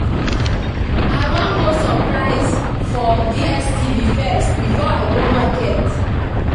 I wan go subscribe for DStv first before I go market